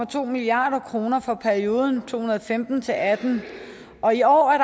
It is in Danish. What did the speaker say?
to milliard kroner for perioden to tusind og femten til atten og i år er